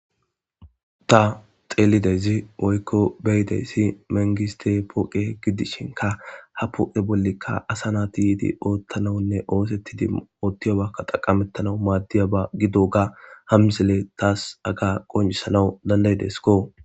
Ta dheelidayzi woyko be'idayzi mangistte poqqe gidishinkka ha poqqe bollika asa nayti ootanawnne osettidi ooththiyoba dhaqameththanaw madiyoba gidoga ha misile tas hagga qonccisanaw dandada'ideskko.